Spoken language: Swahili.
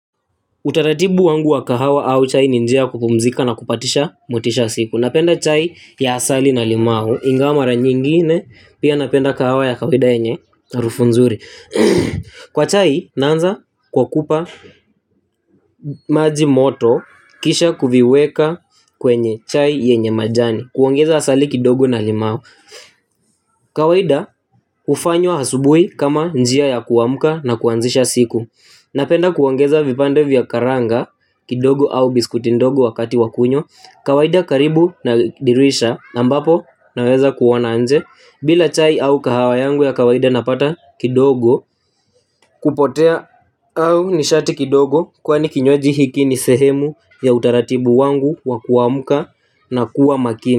Utaratibu wangu wa kahawa au chai ni njia ya kupumzika na kupadisha motisha ya siku. Napenda chai ya asali na limau ingawa mara nyingine pia napenda kahawa ya kawaida yenye harufu nzuri. Kwa chai naanza kwa kupa maji moto kisha kuviweka kwenye chai yenye majani. Kuongeza asali kidogo na limau. Kawaida hufanywa asubuhi kama njia ya kuamka na kuanzisha siku. Napenda kuongeza vipande vya karanga kidogo au biskutindogo wakati wakunywa. Kawaida karibu nadirisha ambapo naweza kuona nje. Bila chai au kahawa yangu ya kawaida napata kidogo. Kupotea au nishati kidogo kwani kinywaji hiki nisehemu ya utaratibu wangu wakuamka na kuwa makini.